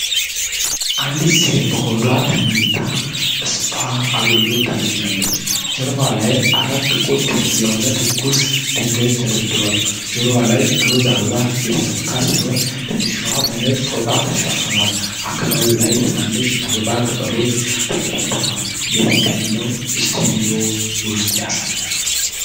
አንዲት ሴት በሆዷ ተኝታ ስፓ አገልግሎት ታገኛለች። ጀርባዋ ላይ አራት ጥቁር ክብ የሆኑ ትኩስ ድንጋዮች ተደርድረዋል። ጆሮዋ ላይ ሮዝ አበባ የተሰካ ሲሆን ትከሻዋ በነጭ ፎጣ ተሸፍኗል። አካባቢው ላይ ትናንሽ የአበባ ቅጠሎች ተበታትነዋል። የሕክምናው ስቱዲዮ ውስጡን ያሳይ።